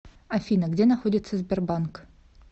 афина где находится сбербанк